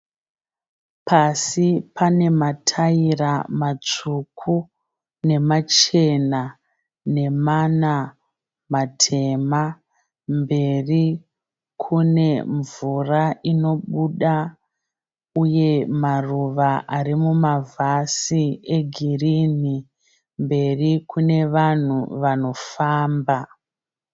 Pasi pane matayira matsvuku nemachena nemana matema. Mberi kune mvura inobuda uye nemaruva ari mumavhasi egirini. Mberi kune vanhu vanofamba.